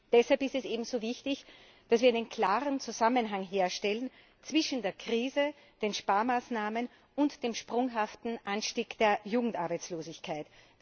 Deshalb ist es eben so wichtig, dass wir einen klaren Zusammenhang herstellen zwischen der Krise, den Sparmaßnahmen und dem sprunghaften Anstieg der Jugendarbeitslosigkeit.